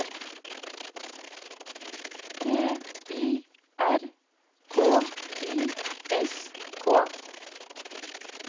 T Y R K I S K